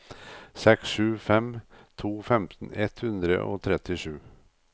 seks sju fem to femten ett hundre og trettisju